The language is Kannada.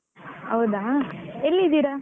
ಹೌದಾ ಎಲ್ಲಿದ್ದೀರಾ?